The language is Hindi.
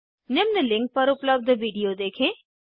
निम्न लिंक पर उपलब्ध विडिओ देखें